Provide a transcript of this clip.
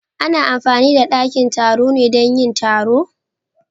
Ana amfani da dakin taro ne dan yin taro?